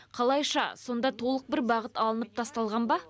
қалайша сонда толық бір бағыт алынып тасталған ба